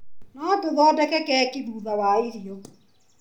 No tũthondeke keki thutha wa irio?